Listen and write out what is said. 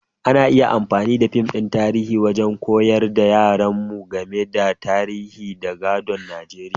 Ana iya amfani da fim na tarihi wajen koyar ma yaran mu game da tarihin da gadon Nijeriya.